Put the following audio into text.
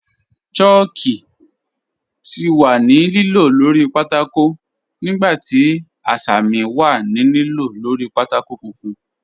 Chàlkù ti wà ní lìlò lórí pátákó nígbà tí àṣàmì wà ní lìlò lórí pátákó fùnfún.